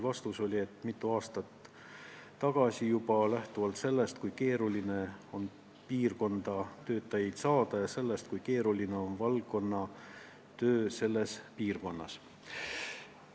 Vastus: sai juba mitu aastat tagasi, lähtudes sellest, kui keeruline on piirkonda töötajaid saada, ja sellest, kui keeruline on valdkonna töö selles piirkonnas.